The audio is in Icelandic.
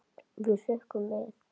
Við hrukkum við.